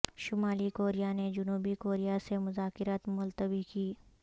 شمالی کوریا نے جنوبی کوریا سے مذاکرات ملتوی کی